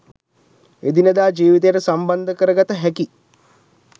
එදිනෙදා ජීවිතයට සම්බන්ධ කරගත හැකි